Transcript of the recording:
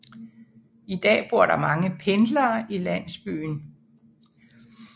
I dag bor der mange pendlere i landsbyen